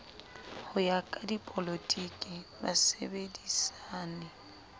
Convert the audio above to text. ho ya ka dipolotiki basebedisani